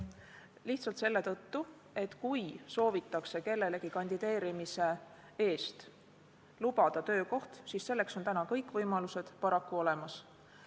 Lihtsalt selle tõttu, et kui soovitakse kellelegi kandideerimise eest töökohta lubada, siis selleks on täna kõik võimalused paraku olemas.